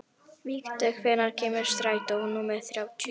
Vígdögg, hvenær kemur strætó númer þrjátíu?